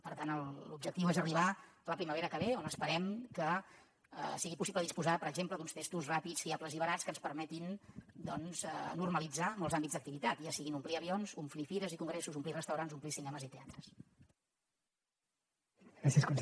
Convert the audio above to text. per tant l’objectiu és arribar a la primavera que ve on esperem que sigui possible disposar per exemple d’uns testos ràpids fiables i barats que ens permetin normalitzar molts àmbits d’activitat ja sigui omplir avions omplir fires i congressos omplir restaurants omplir cinemes i teatres